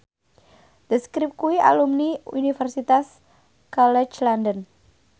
The Script kuwi alumni Universitas College London